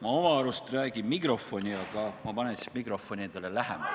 Ma oma arust räägin mikrofoni, aga ma panen siis mikrofoni endale lähemale.